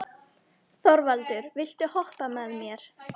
Þorvaldur, viltu hoppa með mér?